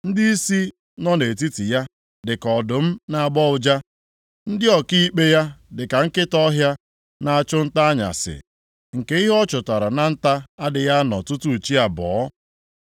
Ndịisi nọ nʼetiti ya dịka ọdụm na-agbọ ụja, ndị ọkaikpe ya dịka nkịta ọhịa na-achụ nta anyasị, nke ihe ọ chụtara na nta adịghị anọ tutu chi abọọ.